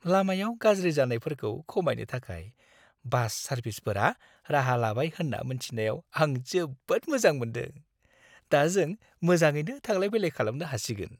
लामायाव गाज्रि जानायफोरखौ खमायनो थाखाय बास सारभिसफोरा राहा लाबाय होन्ना मोन्थिनायाव आं जोबोद मोजां मोनदों, दा जों मोजाङैनो थांलाय-फैलाय खालामनो हासिगोन।